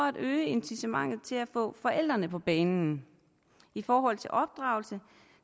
at øge incitamentet til at få forældrene på banen i forhold til opdragelse